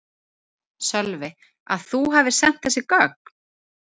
Sölvi: Að þú hafi sent þessi gögn?